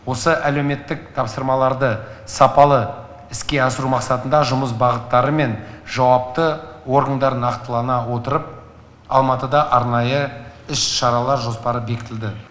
осы әлеуметтік тапсырмаларды сапалы іске асыру мақсатында жұмыс бағыттары мен жауапты органдар нақтылана отырып алматыда арнайы іс шаралар жоспары бекітілді